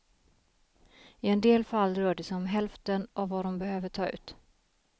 I en del fall rör det sig om hälften av vad de behöver ta ut.